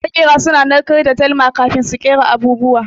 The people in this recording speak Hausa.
Maƙera suna narkar da dalma kafin su kera abubuwa.